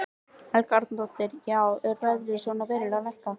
Helga Arnardóttir: Já er verðið svona verulega lækkað?